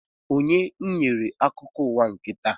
Onye nyere akụkọ ụwa nke taa?